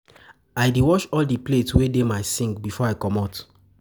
I dey wash all di plate wey dey my sink before I comot.